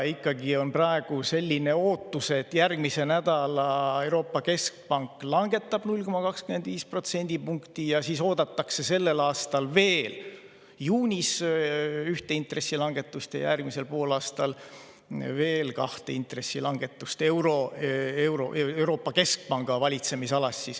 Praegu on selline ootus, et järgmisel nädalal Euroopa Keskpank langetab 0,25 protsendipunkti ja sellel aastal oodatakse juunis veel ühte intressilangetust ja järgmisel poolaastal veel kahte intressilangetust Euroopa Keskpanga valitsemisalas.